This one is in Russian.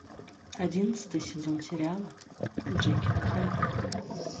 одиннадцатый сезон сериала джекил и хайд